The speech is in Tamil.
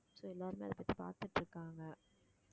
so எல்லாருமே அதைப்பத்தி பாத்துட்டு இருக்காங்க